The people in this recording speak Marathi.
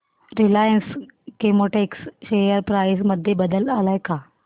रिलायन्स केमोटेक्स शेअर प्राइस मध्ये बदल आलाय का